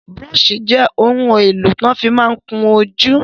Búróṣì jẹ́ ohun èlò tí wọ́n ma fí ń kún ojú.